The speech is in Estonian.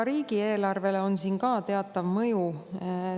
Teatav mõju on siin ka riigieelarvele.